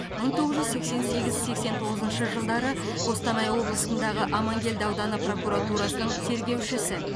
мың тоғыз жүз сексен сегіз сексен тоғызыншы жылдары қостанай облысындағы амангелді ауданы прокуратурасының тергеушісі